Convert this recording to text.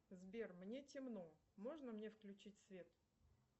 сбер мне темно можно мне включить свет